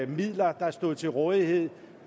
midler der stod til rådighed